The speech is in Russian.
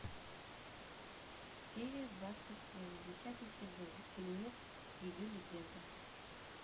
серия двадцать семь десятый сезон фильмец ее легенда